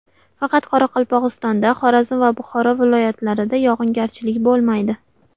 Faqat Qoraqalpog‘istonda, Xorazm va Buxoro viloyatlarida yog‘ingarchilik bo‘lmaydi.